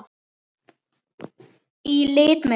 Í lit meira að segja!